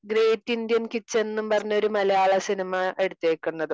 Great Indian kitchen എന്ന് പറഞ്ഞ മലയാള സിനിമ എടുത്തേക്കുന്നതും.